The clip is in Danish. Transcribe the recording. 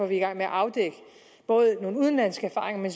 vi i gang med at afdække nogle udenlandske erfaringer